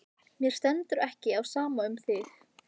Mér stendur ekki á sama um þig.